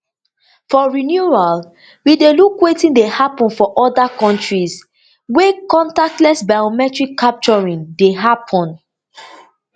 for renewal we dey look wetin dey happun for oda kontries wey contactless biometric capturing dey happun